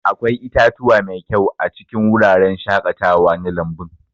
Akwai itatuwa mai kyau a cikin wuraren shaƙatawa na lambun.